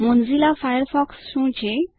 Mozilla Firefox શું છે